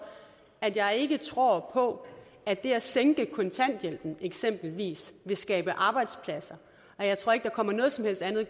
at jeg ikke tror på at det at sænke kontanthjælpen eksempelvis vil skabe arbejdspladser og jeg tror ikke der kommer noget andet